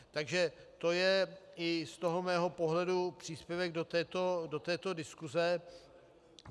Takže to je i z toho mého pohledu příspěvek do této diskuse.